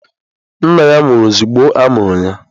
Nna ya nwụrụ ozugbo a mụrụ ya.